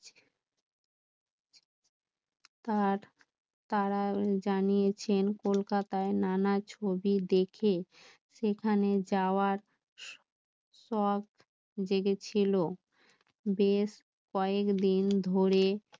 তার জানিয়েছেন? কলকাতায় নানা ছবি দেখে সেখানে যাও সখ জেগেছিল বেশ কয়াক দিন ধরে